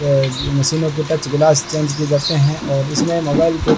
अ मशीनों के touch glass change किए जाते हैं और इसमें मोबाइल के--